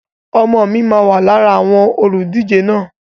Ọmọ mi máà wá lára àwọn olùdíje náà